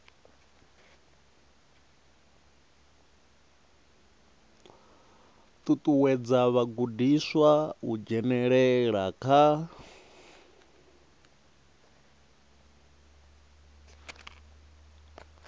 ṱuṱuwedza vhagudiswa u dzhenelela kha